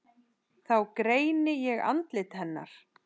Þá greini ég andlit hennar.